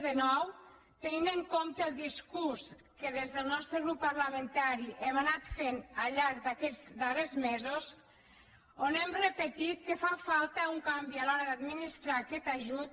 crec que no descobriré res de nou tenint en compte el discurs que des del nostre grup parlamentari hem anat fent al llarg d’aquests darrers mesos on hem repetit que fa falta un canvi a l’hora d’administrar aquest ajut